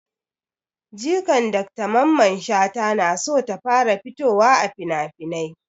Jikan dr mamman shata na so ta fara fitowa a finafinai